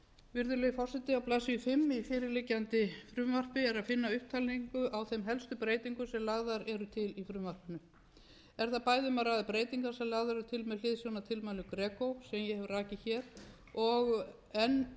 virðulegi forseti á blaðsíðu fimm í fyrirliggjandi frumvarpi er að finna upptalningu á þeim helstu breytingum sem lagðar eru til í frumvarpinu er það bæði um að ræða breytingar sem lagðar eru til með hliðsjón af tilmælum greco sem ég hef rakið hér og enn einnig